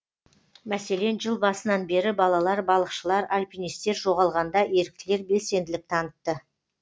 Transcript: мәселен жыл басынан бері балалар балықшылар альпинистер жоғалғанда еріктілер белсенділік танытты